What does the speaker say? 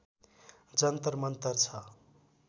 जन्तर मन्तर छ